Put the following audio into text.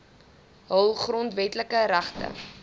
hul grondwetlike regte